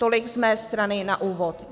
Tolik z mé strany na úvod.